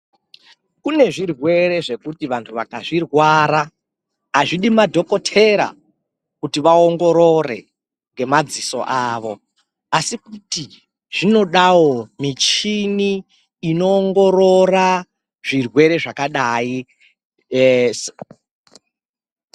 Kune zvirwere zvekuti vantu vakazvi rwara azvidi madhokotera kuti vaongorore nge madziso avo asi kuti zvinodawo michini ino ongorora zvirwere zvakadai.